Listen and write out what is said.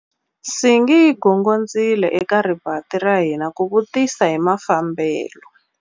Nsingi yi gongondzile eka rivanti ra hina ku vutisa hi mafambelo.